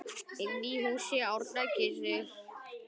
Inni í húsi Árna kyssir